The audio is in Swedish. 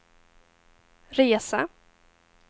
resa